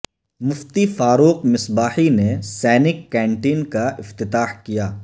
مفتی فاروق مصباحی نے سینک کنٹین کا افتتاح کیا